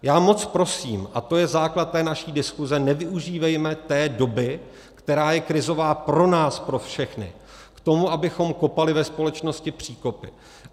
Já moc prosím, a to je základ té naší diskuse, nevyužívejme té doby, která je krizová pro nás pro všechny, k tomu, abychom kopali ve společnosti příkopy.